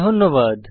ধন্যবাদ